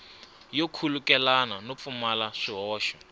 yo khulukelana no pfumala swihoxo